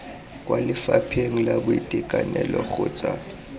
kwa lefapheng la boitekanelo kgotsa